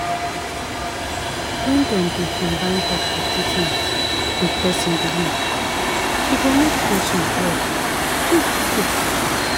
when dem dey combine doctor treatment with person belief e go make patient well quick-quick.